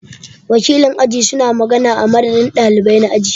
Wakilin aji su na magana a madadin ɗalibai na aji.